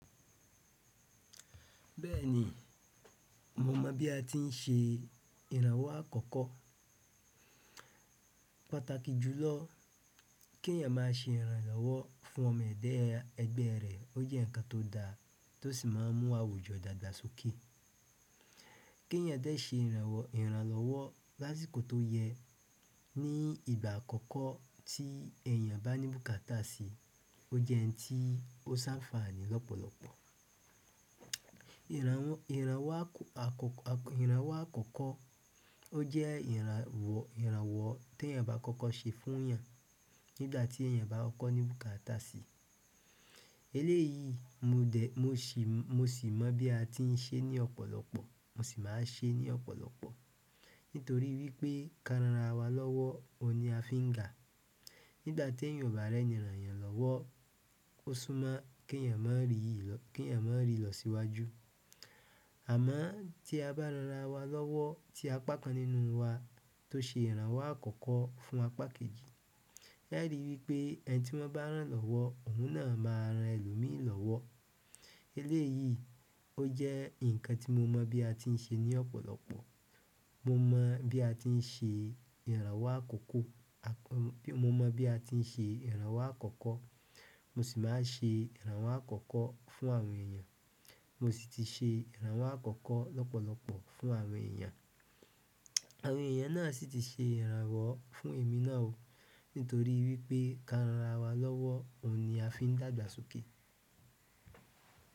Bẹ́ẹ̀ni, mo mọ̀ bí a ti ń ṣe ìrànwọ́ àkọ́kọ́. Pàtàkì jùlọ kí èèyàn máa ṣe ìrànlọ́wọ́ fún ọmọ ẹda ẹgbẹ rẹ̀ ó jẹ́ ǹkan tó da tó sì máa ń mú àwùjọ dàgbà sókè. Ki èèyàn dẹ ṣe ìrànlọ́wọ́ lásìkò to yẹ ni ìgbà àkọ́kọ́ ti eeyan ba ni bukaata si, o jẹ n ti o s'anfani lọpọlọpọ lọ́pọ̀lọpọ̀. Ìrànwọ́ àkọ́kọ́ ó jẹ́ ìrànwọ́ tí èèyàn bá àkọ́kọ́ ṣe fún èèyàn nígbà tí èèyàn bá ń kọ́ ní bùkátà sí. Eléyìí mo sì mọ̀ bí a ti ń ṣe ní ọ̀pọ̀lọpọ̀, mo sì máa ń ṣe é ní ọ̀pọ̀lọpọ̀. Nítorí wípé, ká ran ara wa lọ́wọ́, òun ni a fi ń ga. Nígbà tí èèyàn ò bá rẹ́ni ràn eeyan lọwọ́, ó sún mọ kí eeyàn má rí ìlọsíwájú. Àmọ́ tí a bá ran ara wa lọ́wọ́ tí apá kan nínú wa tó ṣe ìrànwọ́ àkọ́kọ́ fún apá kejì. Ẹ ri wípé ẹni tí wọ́n bá rán lọ́wọ́ òun náà máa ran ẹlòmíì lọ́wọ́. Eléyìí ó jẹ́ ǹkan tí mo mọ̀ bí a ti ń ṣe ní ọ̀pọ̀lọpọ̀. Mo mọ̀ bí a ti ń ṣe ìrànwọ́ àkọ́kọ́, mo sì máa ń ṣe ìrànwọ́ àkọ́kọ́ fún àwọn èèyàn. Mo sì ti ṣe ìrànwọ́ àkọ́kọ́ lọ́pọ̀lọpọ̀ fún àwọn èèyàn. Àwọn èèyàn náà sì ti ṣe ìrànwọ́ fún èmi náà o. Nítorí wípé ká ranra wa lọ́wọ́, òun ni a fi ń dàgbà sókè.